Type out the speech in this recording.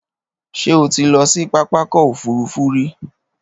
Ṣé o ti lọ sí pápákọ̀ òfurufú rí?